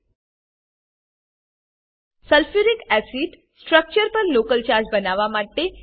sulphuric acid sulphuric acid structure પર local charge બનાવવા માટે